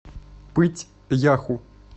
пыть яху